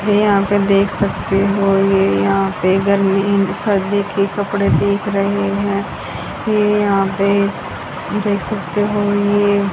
ये यहां पे देख सकते हो ये यहां पे गर्मी सर्दी के कपड़े भी दिख रहे हैं ये यहां पे देख सकते हो ये --